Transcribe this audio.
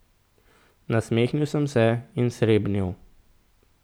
Nasmehnil sem se in srebnil.